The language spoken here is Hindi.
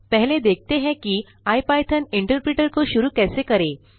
पहले देखते हैं कि इपिथॉन इंटरप्रेटर को शुरू कैसे करें